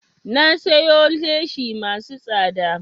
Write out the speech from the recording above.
Na siyo leshi masu tsada